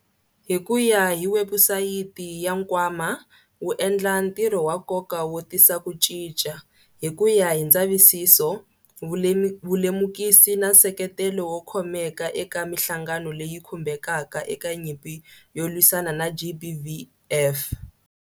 Hi ku ya hi webusayiti ya nkwama, wu endla ntirho wa nkoka wo tisa ku cinca, hi ku ya hi ndzavisiso, vulemukisi na nseketelo wo khomeka eka mihlangano leyi khumbekaka eka nyimpi yo lwisana na GBVF.